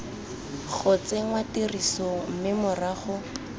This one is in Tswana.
go tsenngwa tirisong mme morago